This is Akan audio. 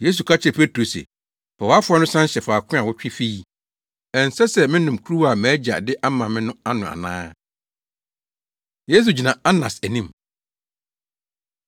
Yesu ka kyerɛɛ Petro se, “Fa wʼafoa no san hyɛ faako a wotwe fii. Ɛnsɛ sɛ menom kuruwa a mʼAgya de ama me no ano ana?” Yesu Gyina Anas Anim